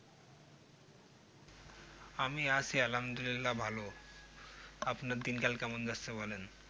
আমি আছি আলহামদুল্লিয়া ভালো আপনার দিনকাল কেমন যাচ্ছে বলেন